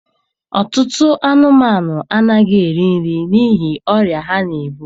Ọtụtụ anụmanụ anaghị eri nri n'ihi ọrịa ha na-ebu.